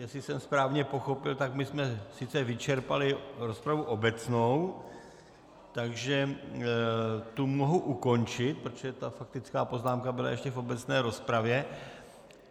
Jestli jsem správně pochopil, tak my jsme sice vyčerpali rozpravu obecnou, takže to mohu ukončit, protože ta faktická poznámka byla ještě v obecné rozpravě.